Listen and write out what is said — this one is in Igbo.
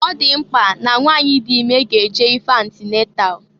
Ọ dị mkpa na nwanyị dị ime ga-eje ife antinatal.